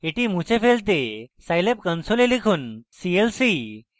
এটি মুছে ফেলতে আপনার scilab console লিখুন clc